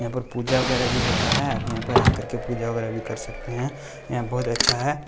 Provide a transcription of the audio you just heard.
यहां पर पूजा वगैरह भी होता है आप यहां पर आकर के पूजा वगैरह भी कर सकते हैं यहां बहुत अच्छा है।